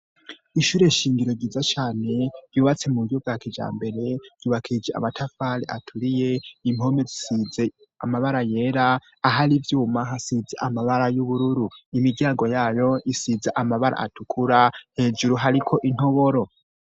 Ishure shingiro giza cane yubatse mu buryo bwa kija mbere yubakije amatafale aturiye impome zisize amabara yera aho ari ivyuma hasize amabara y'ubururu, imiryango yayo isize amabara atukura hejuru hariko intoboro.